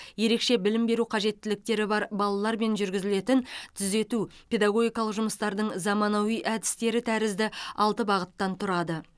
ерекше білім беру қажеттіліктері бар балалармен жүргізілетін түзету педагогикалық жұмыстардың заманауи әдістері тәрізді алты бағыттан тұрады